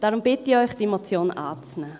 Darum bitte ich Sie, diese Motion anzunehmen.